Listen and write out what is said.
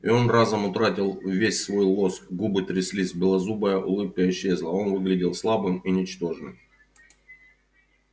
и он разом утратил весь свой лоск губы тряслись белозубая улыбка исчезла он выглядел слабым и ничтожным